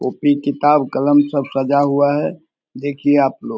copy किताब कलम सब सजा हुआ है देखिए आप लोग --